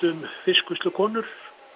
fiskvinnslukonur